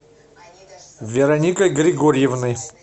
вероникой григорьевной